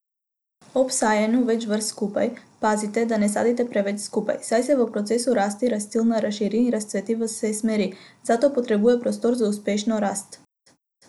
Ob sajenju več vrst skupaj, pazite, da ne sadite preveč skupaj, saj se v procesu rasti rastlina razširi in razcveti v vse smeri, zato potrebuje prostor za uspešno rast.